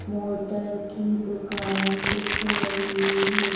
Motor की दुकान दिख रही है।